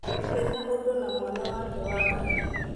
Ndirĩ na ũndũ na mwana wake wa kahĩĩ